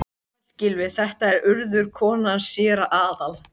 Sæll, Gylfi, þetta er Urður, konan hans séra Aðal